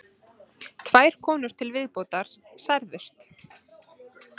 Tvær konur til viðbótar særðust